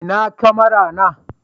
ina kamara na